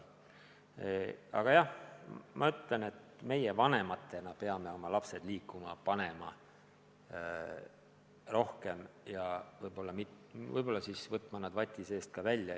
Igal juhul ma ütlen, et meie vanematena peame panema oma lapsed rohkem liikuma, võtma nad vati seest välja.